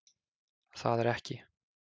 Það er ekki